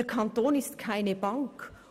Der Kanton ist keine Bank.